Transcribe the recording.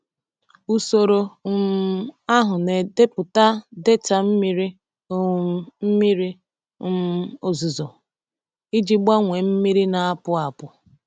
Usoro um ahụ na-edepụta data mmiri um mmiri um ozuzo iji gbanwee mmiri na-apụ apụ.